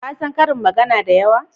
Ka san ƙarin magana da yawa?